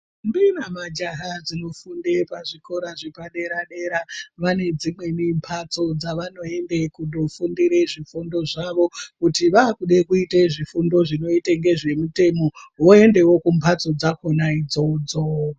Ndombi nemajaha dzinofunda pazvikora zvepadera dera vane dzimweni mbatso dzavanoenda kundofundira zvifundo zvavo kuti vakuda kuita zvifundo zvinoita ngezvemitemo voendawo kumbatso dzona idzodzo.